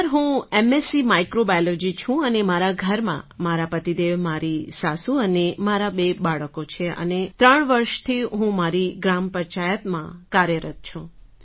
sir હું MSc microbiology છું અને મારા ઘરમાં મારા પતિદેવ મારી સાસુ અને મારાં બે બાળકો છે અને ત્રણ વર્ષથી હું મારી ગ્રામ પંચાયતમાં કાર્યરત છું